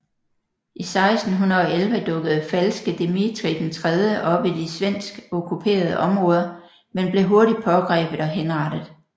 I 1611 dukkede Falske Dmitrij III op i de svensk okkuperede områder men blev hurtigt pågrebet og henrettet